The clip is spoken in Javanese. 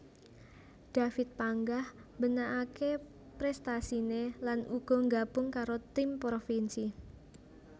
David panggah mbenakaké prestasiné lan uga nggabung karo tim provinsi